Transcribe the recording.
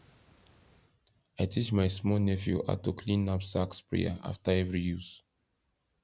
i teach my small nephew how to clean knapsack sprayer after every use